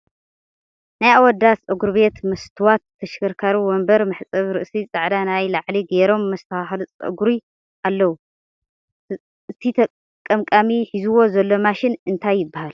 ናይ ኣወዳት ፀጉርቤት መስትዋት፣ ተሽከርካሪ ወንበር፣ መሕፀቢ ርእሲ፣ ፃዕዳ ናይ ላዕሊ ገይሮም መስተካከልቲ ፀጉሪ ኣለዉ ። እቲ ቀምቃሚ ሒዝዎ ዘሎ ማሽን እንታይ ይበሃል?